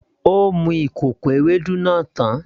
Ó mu kòkò Ewédú náà tán